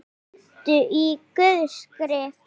Hvíldu í Guðs friði.